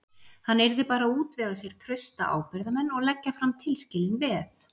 Hann yrði bara að útvega sér trausta ábyrgðarmenn og leggja fram tilskilin veð.